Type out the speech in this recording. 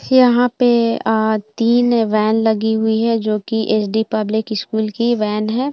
यहाँ पे तीन वैन लगी हुई है जो की एस डी पब्लिक स्कुल की वैन है।